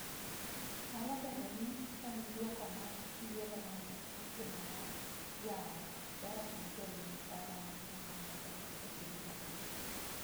Nyalo bedo ni en duoko mar yiero ma ne otimo mar yawo dhoot ne jolweny tara mang’eny mondo odonj e piny Jerman.